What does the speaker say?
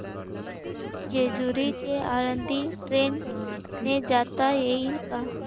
जेजूरी ते आळंदी ट्रेन ने जाता येईल का